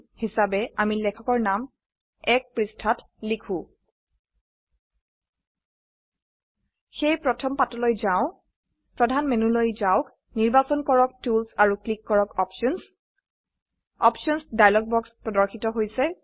হিচাবে আমি লেখকৰ নাম ১ক পৃস্ঠাত লিখো সেয়ে প্ৰথম পাতলৈ যাও প্ৰধান মেনুলৈ যাওক নিৰ্বাচন কৰক টুলস আৰু ক্লিক কৰক অপশ্যনছ অপশ্যনছ ডায়লগ বাক্স প্ৰদৰ্শিত হৈছে